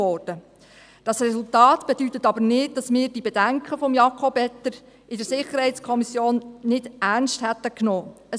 Dieses Resultat bedeutet aber nicht, dass wir die Bedenken von Jakob Etter in der SiK nicht ernst genommen haben.